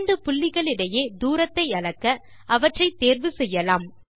இரண்டு புள்ளிகளிடையே தூரத்தை அளக்க அவற்றை தேர்வு செய்யலாம்